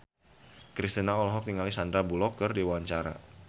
Kristina olohok ningali Sandar Bullock keur diwawancara